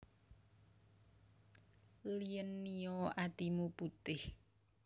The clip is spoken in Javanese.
Lien Nio atimu putih